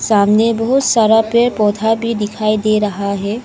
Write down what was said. सामने बहुत सारा पेड़ पौधा भी दिखाई दे रहा है।